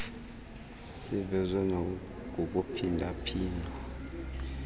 sivezwe nakukuphinda phindwa